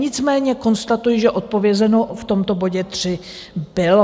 Nicméně konstatuji, že odpovězeno v tomto bodě tři bylo.